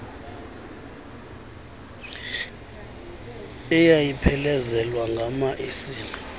eyayiphelezelwa ngama esile